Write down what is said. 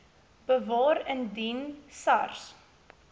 bewaar indien sars